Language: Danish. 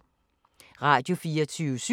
Radio24syv